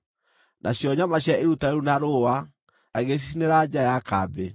nacio nyama cia iruta rĩu na rũũa agĩcicinĩra nja ya kambĩ.